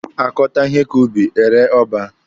Akọta ihe ka ubi, ere ọba.